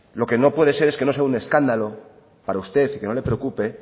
lo que no puede ser es que no sea un escándalo para usted que no le preocupe